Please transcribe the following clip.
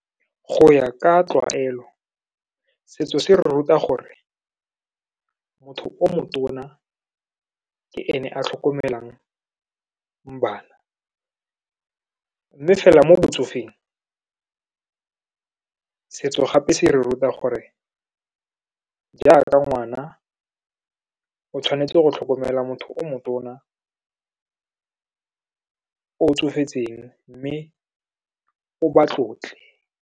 Go ya ka tlwaelo, setso se re ruta gore motho o motona ke ene a tlhokomelang bana. Mme fela mo botsofeng, setso gape se re ruta gore jaaka ngwana, o tshwanetse go tlhokomela motho o motona o tsofetseng, mme o ba tlotle.